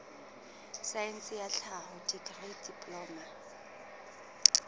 saense ya tlhaho dikri diploma